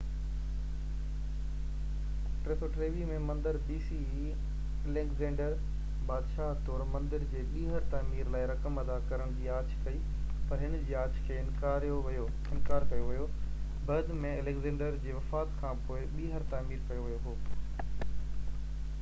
Alexander, بادشاهه طور، مندر جي ٻيهر تعمير لاءِ رقم ادا ڪرڻ جي آڇ ڪئي، پر هن جي آڇ کي انڪار ڪيو ويو بعد ۾، اليگزينڊر جي وفات کانپوءِ، 323 bce ۾ مندر ٻيهر تعمير ڪيو ويو هو